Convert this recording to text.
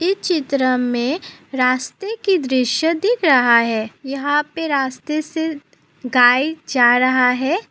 चित्र में रास्ते की दृश्य दिख रहा है यहाँ पे रास्ते से गाय जा रहा है।